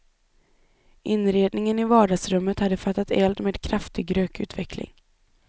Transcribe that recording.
Inredningen i vardagsrummet hade fattat eld med kraftig rökutveckling.